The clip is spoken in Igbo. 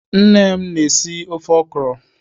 Nne m na- esi ofe ọkwụrụ.